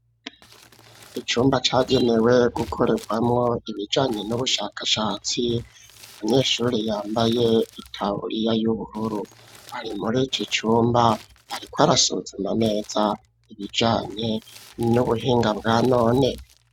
Icumba cagenewe gukorerwamo ibijanye n'ubushakashatsi, umunyeshuri yambaye itaburiya y'ubururu ari muri iki icumba, ariko arasuzuma neza ibijanye n'ubuhinga bwa none.